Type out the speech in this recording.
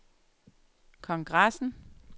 kongressen